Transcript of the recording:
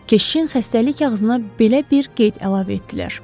Keşişin xəstəlik kağızına belə bir qeyd əlavə etdilər.